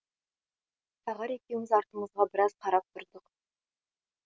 тағар екеуміз артымызға біраз қарап тұрдық